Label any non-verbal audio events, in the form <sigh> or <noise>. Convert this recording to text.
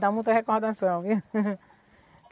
Dá muita recordação, viu? <laughs>